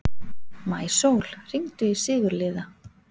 Maísól, hringdu í Sigurliða.